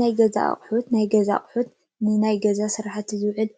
ናይ ገዛ አቁሑ ናይ ገዛ አቁሑ ንናይ ገዛ ስራሕቲ ዝውዕሉ